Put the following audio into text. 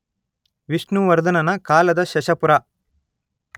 ವಿಷ್ಣುವರ್ಧನನ ಕಾಲದ ಶಶಪುರ